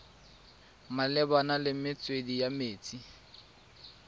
malebana le metswedi ya metsi